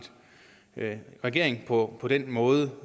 regering på på den måde